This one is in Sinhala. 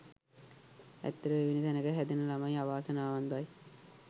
ඇත්තටම එවැනි තැනක හැදෙන ළමයි අවාසනාවන්තයි.